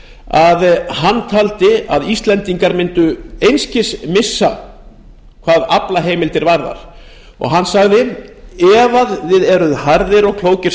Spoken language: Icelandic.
að hann taldi að íslendingar mundu einskis missa hvað aflaheimildir varðar hann sagði að ef við værum harðir og klókir